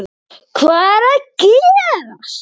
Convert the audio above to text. HVAÐ ER AÐ GERAST???